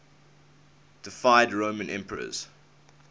deified roman emperors